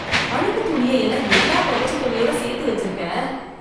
அழுக்குத் துணியை எல்லாம் ஏன்டா துவச்ச துணியோட சேர்த்து வச்சிருக்க?